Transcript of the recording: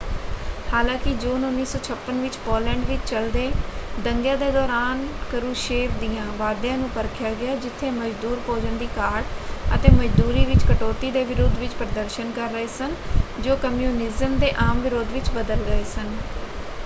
ਹਾਲਾਂਕਿ ਜੂਨ 1956 ਵਿੱਚ ਪੋਲੈਂਡ ਵਿੱਚ ਚੱਲਦੇ ਦੰਗਿਆਂ ਦੇ ਦੌਰਾਨ ਕਰੂਸ਼ੇਵ ਦਿਆਂ ਵਾਅਦਿਆਂ ਨੂੰ ਪਰਖਿਆ ਗਿਆ ਜਿੱਥੇ ਮਜ਼ਦੂਰ ਭੋਜਨ ਦੀ ਘਾਟ ਅਤੇ ਮਜ਼ਦੂਰੀ ਵਿੱਚ ਕਟੌਤੀ ਦੇ ਵਿਰੋਧ ਵਿੱਚ ਪ੍ਰਦਰਸ਼ਨ ਕਰ ਰਹੇ ਸਨ ਜੋ ਕਮਿਊਨਿਜ਼ਮ ਦੇ ਆਮ ਵਿਰੋਧ ਵਿੱਚ ਬਦਲ ਗਏ ਸਨ।